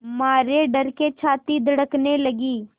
मारे डर के छाती धड़कने लगी